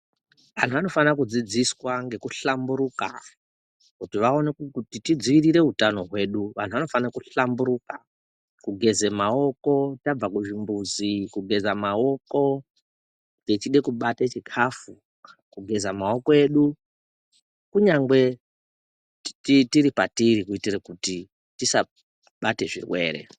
Anhu anofana kudzidzira ngekuhlamburuka kuti tidzivirire utano hwedu. Vanhu vanofana kuhlamburuka kugeze maoko tabva kuzvimbuzi, kugeza maoko techida kubata chikafu kugeza maoko edu kunyangwe tiri kwatiri kuitira kuti tisabate zvirwere.